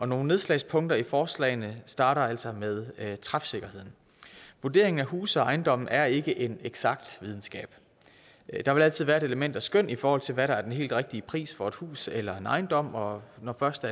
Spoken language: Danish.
nogle nedslagspunkter i forslagene starter altså med træfsikkerheden vurderingen af huse og ejendomme er ikke en eksakt videnskab der vil altid være et element af skøn i forhold til hvad der er den helt rigtige pris for et hus eller en ejendom og når først